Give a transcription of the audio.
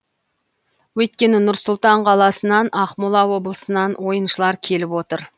өйткені нұр сұлтан қаласынан ақмола облысынан ойыншылар келіп отыр